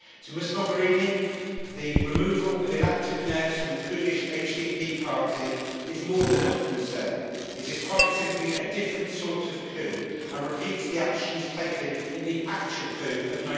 Ms Mogherini, the removal of elected mayors from the Kurdish HDP party is more than a matter of concern. It is quite simply a different sort of coup, and it repeats the actions taken in the actual coup of